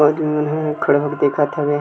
खड़ा होके देखत हवय--